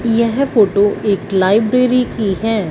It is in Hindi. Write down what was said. यह फोटो एक लाइब्रेरी की हैं।